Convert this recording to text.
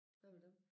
Hvad med dem?